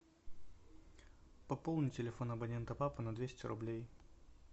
пополни телефон абонента папа на двести рублей